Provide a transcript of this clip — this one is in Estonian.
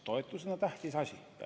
Toetused on tähtis asi.